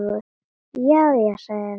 Já, já, sagði ég.